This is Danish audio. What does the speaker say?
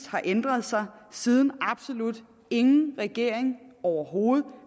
har ændret sig siden absolut ingen regering overhovedet